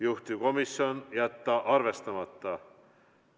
Juhtivkomisjon: jätta arvestamata.